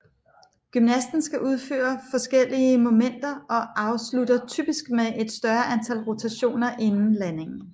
Gymnasten skal udføre forskellige momenter og afslutter typisk med et større antal rotationer inden landingen